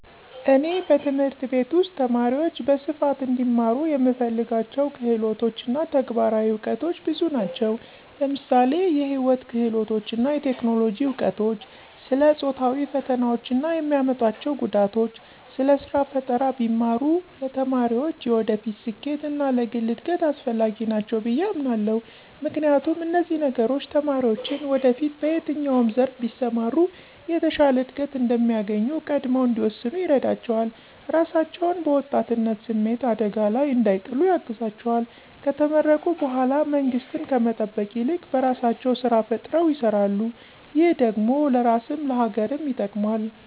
እኔ በትምህርት ቤት ውስጥ ተማሪዎች በስፋት እንዲማሩ የምፈልጋቸው ክህሎቶች እና ተግባራዊ እውቀቶች ብዙ ናቸው። ለምሳሌ የህይወት ክህሎቶች እና የቴክኖሎጂ እውቀቶች፣ ስለ ጾታዊ ፈተናዎች እና የሚያመጡአቸው ጉዳቶች፣ ስለ ስራ ፈጠራ ቢማሩ ለተማሪዎች የወደፊት ስኬት እና ለግል እድገት አስፈላጊ ናቸው ብየ አምናለሁ። ምክንያቱም፣ እነዚህ ነገሮች ተማሪዎችን ወደፊት በየትኛው ዘርፍ ቢሰማሩ የተሻለ እድገት እንደሚያገኙ ቀድመው እንዲወስኑ ይረዳቸዋል፣ ራሳቸውን በወጣትነት ስሜት አደጋ ላይ እንዳይጥሉ ያግዛቸዋል፣ ከተመረቁ በኃላ መንግስትን ከመጠበቅ ይልቅ በራሳቸው ስራ ፈጥረው ይሰራሉ ,ይህ ደግሞ ለራስም ለሀገርም ይጠቅማል።